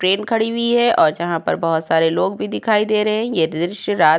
train खड़ी हुईं है और जहां पर बहोत सारे लोग भी दिखाई दे रहे है ये दृश्य रात --